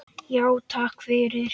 Já, takk fyrir.